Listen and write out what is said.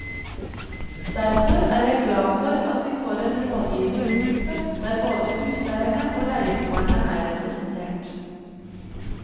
Derfor er jeg glad for at vi får en rådgivningsgruppe der både huseierne og leieboerne er representert.